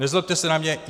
Nezlobte se na mě.